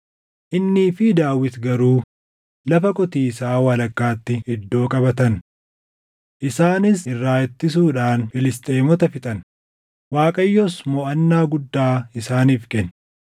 Innii fi Daawit garuu lafa qotiisaa walakkaatti iddoo qabatan. Isaanis irraa ittisuudhaan Filisxeemota fixan; Waaqayyos moʼannaa guddaa isaaniif kenne.